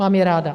Mám je ráda.